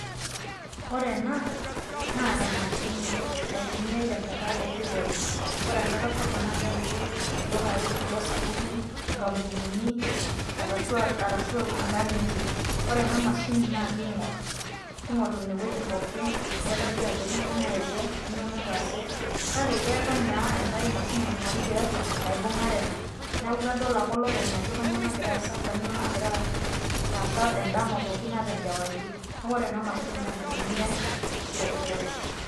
Ore ena, naa emashini naitumiai tenkata erripore. Ore enkata sapuk na kepiki ildukai kulo sapukin, inkampunini, arashu inkang'itie. Ore ena mashini naa king'or, king'or inewueji pookin, nedoli ajo kang'ae naewuo, kanyioo nataase. Kake keetae naa enkae mashini naing'orieki tiatua, naibung'are ena. Neeku kedol ake olopeny ajo kanyioo nagira aasa, kanyioo nagira aasa edama pookin ata enkewarie. Neeku ore ena mashini na enaitumiai, terripore.